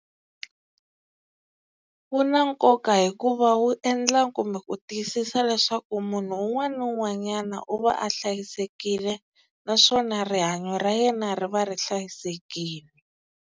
Wu na nkoka hikuva wu endla kumbe ku tiyisisa leswaku munhu un'wana ni un'wanyana u va a hlayisekile naswona rihanyo ra yena ri va ri hlayisekile.